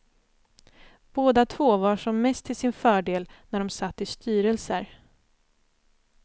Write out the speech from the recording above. Båda två var som mest till sin fördel när de satt i styrelser.